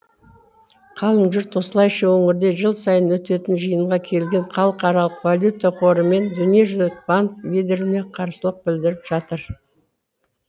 қалың жұрт осылайша өңірде жыл сайын өтетін жиынға келген халықаралық валюта қоры мен дүниежүзілік банк лидеріне қарсылық білдіріп жатыр